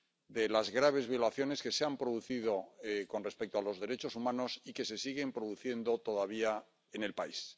de las graves violaciones que se han producido con respecto a los derechos humanos y que se siguen produciendo todavía en el país.